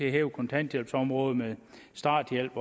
at hæve kontanthjælpsområdet med starthjælp